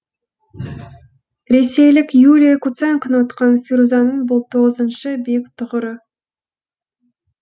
ресейлік юлия куценконы ұтқан фирузаның бұл тоғызыншы биік тұғыры